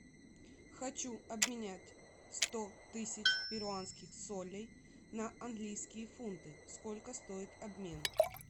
хочу обменять сто тысяч перуанских солей на английские фунты сколько стоит обмен